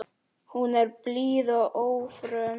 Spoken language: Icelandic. Hún er blíð og ófröm.